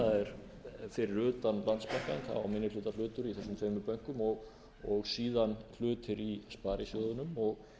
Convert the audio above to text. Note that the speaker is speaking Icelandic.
er minnihlutahlutur í þessum tveimur bönkum og síðan hlutir í sparisjóðunum og